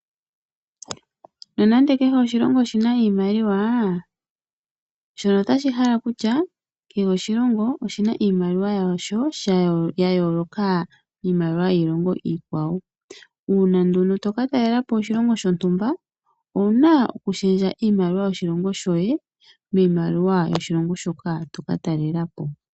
Nonande kehe oshilongo oshina iimaliwa, shono osha hala okutya kehe oshilongo oshina iimaliwa yasho yayooloka kiilongo iikwawo. Uuna nduno toka talelapo oshilongo shontumba owuna okushendja iimaliwa yoshilongo shoye miimaliwa yoshilongo shoka toka talelapo.